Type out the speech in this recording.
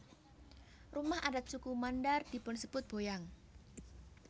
Rumah adat suku Mandar dipunsebut boyang